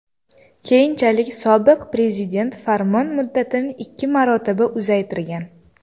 Keyinchalik sobiq prezident farmon muddatini ikki marotaba uzaytirgan.